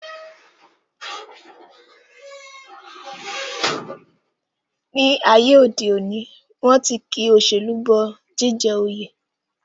Ní ayé òde òní, wọ́n ti ki òṣèlú bọ jíjẹ oyè